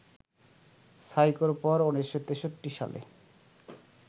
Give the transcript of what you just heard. সাইকোর পর ১৯৬৩ সালে